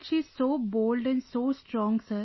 she is so bold and so strong, sir